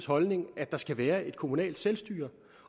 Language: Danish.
holdning at der skal være et kommunalt selvstyre